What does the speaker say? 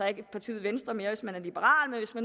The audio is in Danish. ikke partiet venstre mere hvis man er liberal så